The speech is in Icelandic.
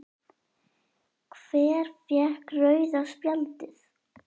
Hver fékk rauða spjaldið?